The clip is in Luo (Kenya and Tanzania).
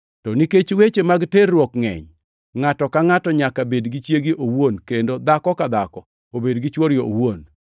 To nikech weche mag terruok ngʼeny, ngʼato ka ngʼato nyaka bed gi chiege owuon kendo dhako ka dhako obed gi chwore owuon.